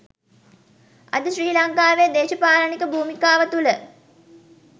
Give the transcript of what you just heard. අද ශ්‍රී ලංකාවේ දෙශපාලනික භූමිකාව තුළ